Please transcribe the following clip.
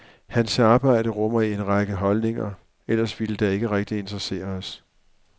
Hans arbejde rummer en række holdninger, ellers ville det ikke rigtig interessere os.